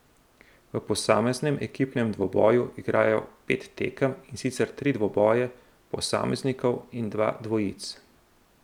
V posameznem ekipnem dvoboju igrajo pet tekem, in sicer tri dvoboje posameznikov in dva dvojic.